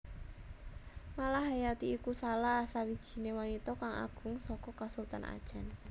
Malahayati iku salah sawijiné wanita kang agung saka Kasultanan Acèh